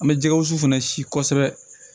An bɛ jɛgɛ wusu fɛnɛ si kɔsɛbɛ